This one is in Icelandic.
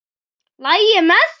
LAGI MEÐ ÞIG?